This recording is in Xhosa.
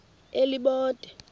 elibode